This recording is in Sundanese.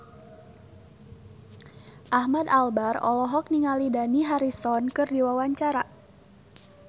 Ahmad Albar olohok ningali Dani Harrison keur diwawancara